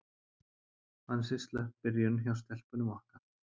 Ansi slöpp byrjun hjá stelpunum okkar.